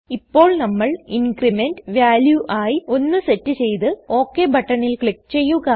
ഇപ്പോൾ നമ്മൾ increment value ആയി 1 സെറ്റ് ചെയ്തു ഓകെ ബട്ടണിൽ ക്ലിക് ചെയ്യുക